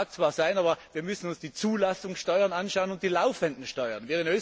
Es mag zwar sein, aber wir müssen uns die Zulassungssteuern anschauen und die laufenden Steuern.